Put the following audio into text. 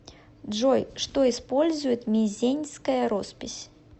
джой что использует мезеньская роспись